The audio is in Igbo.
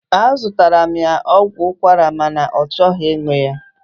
Azụtaara m ya ọgwụ ụkwara ma na ọ chọghị ịṅụ ya.